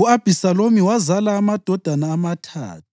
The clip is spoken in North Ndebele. U-Abhisalomu wazala amadodana amathathu